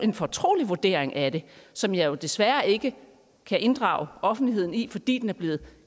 en fortrolig vurdering af det som jeg jo desværre ikke kan inddrage offentligheden i fordi den er blevet